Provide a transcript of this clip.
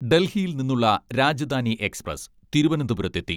ഡൽഹിയിൽ നിന്നുള്ള രാജധാനി എക്സ്പ്രസ് തിരുവനന്തപുരത്തെത്തി.